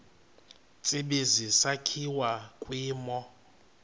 tsibizi sakhiwa kwimo